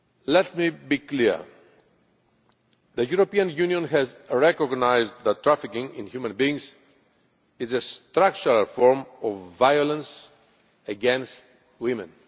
Let me be clear, the European Union has recognised that trafficking in human beings is a structural form of violence against women.